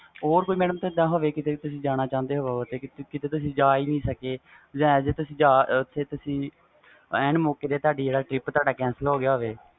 ਹੋਰ ਕੁਛ ਹੋਵੇ ਜੀਦਾ ਤੁਸੀ ਕੀਤੇ ਜਾਣਾ ਚਾਹੁੰਦੇ ਹੋ ਕੀਤੇ ਤੁਸੀ ਜਾ ਹੀ ਨਹੀਂ ਸਕੇ as a ਮੌਕੇ ਤੇ ਤੁਸੀ ਜਾ ਹੀ ਨਹੀਂ ਸਕੇ